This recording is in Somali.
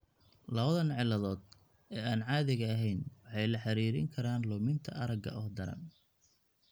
Labadan cilladood ee aan caadiga ahayn waxay la xiriirin karaan luminta aragga oo daran.